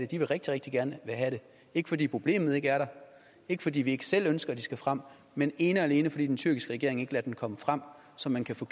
de vil rigtig rigtig gerne have det ikke fordi problemet ikke er der ikke fordi vi ikke selv ønsker at de skal frem men ene og alene fordi den tyrkiske regering ikke lader dem komme frem så man kan få